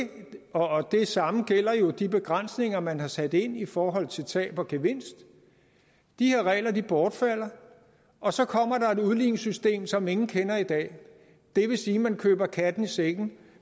og det samme gælder jo de begrænsninger man har sat ind i forhold til tab og gevinst de her regler bortfalder og så kommer der et udligningssystem som ingen kender i dag det vil sige at man køber katten i sækken